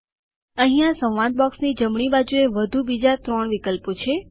અહીંયાં ડાયલોગ બોક્સની જમણી બાજુએ વધુ બીજા ત્રણ વિકલ્પો છે